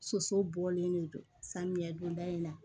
Soso bɔlen don samiyɛ donda in na